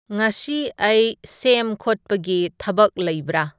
ꯉꯁꯤ ꯑꯩ ꯁꯦꯝ ꯈꯣꯠꯄꯒꯤ ꯊꯕꯛ ꯂꯩꯕ꯭ꯔꯥ